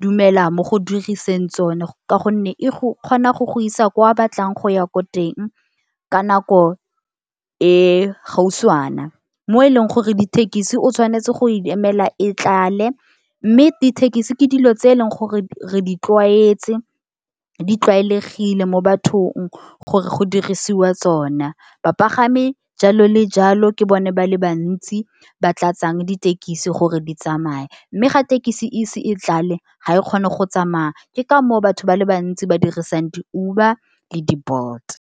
dumela mo go diriseng tsone, ka gonne e go kgona go go isa kwa a batlang go ya ko teng ka nako e gautshwana. Mo e leng gore dithekisi o tshwanetse go emela e tlale, mme dithekisi ke dilo tse e leng gore re di tlwaetse di tlwaelegile mo bathong gore go dirisiwa tsona. Bapagami jalo le jalo ke bone ba le bantsi ba tlatsang ditekisi gore di tsamaya. Mme ga thekisi ise e tlale ga e kgone go tsamaya ke ka moo batho ba le bantsi ba dirisang di-Uber le di-Bolt.